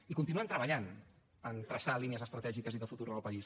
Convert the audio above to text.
i continuem treballant en traçar línies estratègiques i de futur en el país